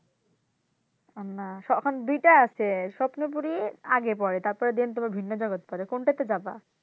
এখন দুইটা আছে স্বপ্নপুরি আর আগে পড়ে then তোমার ভিন্ন জগৎ পড়ে কোনটাতে যাবা?